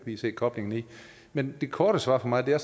lige se koblingen i men det korte svar for mig er